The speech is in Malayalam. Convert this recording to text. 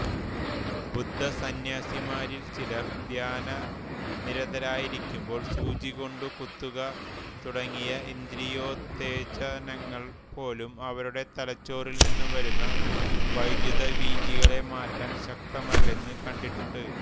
ബുദ്ധസന്ന്യാസിമാരിൽ ചിലർ ധ്യാനനിരതരായിക്കുമ്പോൾ സൂചികൊണ്ടു കുത്തുക തുടങ്ങിയ ഇന്ദ്രിയോത്തേജനങ്ങൾപോലും അവരുടെ തലച്ചോറിൽനിന്നും വരുന്ന വൈദ്യുതവീചികളെ മാറ്റാൻ ശക്തമല്ലെന്നു കണ്ടിട്ടുണ്ട്